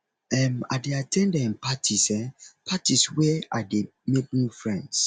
um i dey at ten d um parties um parties where i dey make new friends